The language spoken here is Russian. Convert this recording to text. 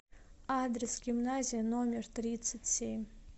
адрес гимназия номер тридцать семь